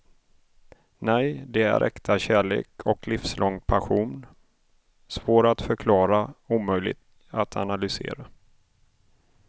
Nej, det är äkta kärlek och livslång passion; svår att förklara, omöjlig att analysera.